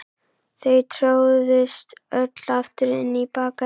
Þau tróðust öll aftur inn í Bakaríið.